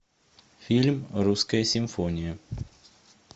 фильм русская симфония